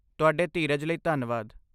ਤੁਹਾਡੇ ਧੀਰਜ ਲਈ ਧੰਨਵਾਦ।